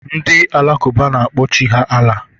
Ndị Alakụba na-akpọ Chi ha Allah.